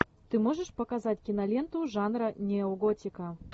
ты можешь показать киноленту жанра неоготика